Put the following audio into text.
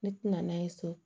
Ne tɛna n'a ye so